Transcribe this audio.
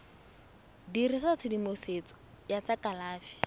dirisa tshedimosetso ya tsa kalafi